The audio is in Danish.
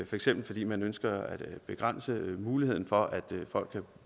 for eksempel fordi man ønsker at begrænse muligheden for at folk kan